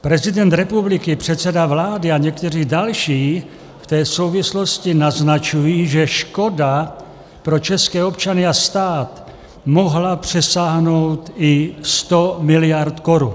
Prezident republiky, předseda vlády a někteří další v té souvislosti naznačují, že škoda pro české občany a stát mohla přesáhnout i sto miliard korun.